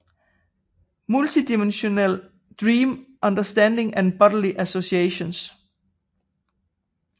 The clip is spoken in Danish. Multidimensional Dream Understanding and Bodily Associations